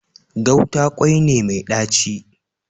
Gauta kwai ne mai ɗaci